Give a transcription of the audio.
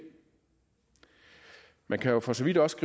man kan jo for så vidt også